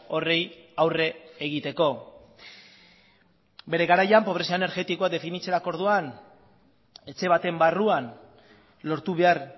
horri aurre egiteko bere garaian pobrezia energetikoa definitzerako orduan etxe baten barruan lortu behar